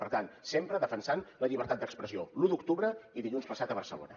per tant sempre defensant la llibertat d’expressió l’u d’octubre i dilluns passat a barcelona